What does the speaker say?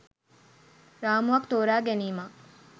රාමුවක් තෝරා ගැනීමක්.